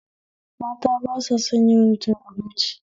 Mata ba sa son yawan cin abinci